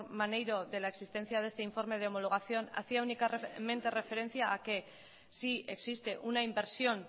maneiro de la existencia de este informe de homologación hacia únicamente referencia a que si existe una inversión